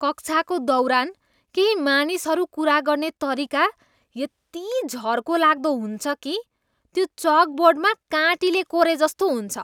कक्षाको दौरान केही मानिसहरू कुरा गर्ने तरिका यति झर्को लाग्दो हुन्छ कि, त्यो चकबोर्डमा काँटीले कोरेजस्तो हुन्छ।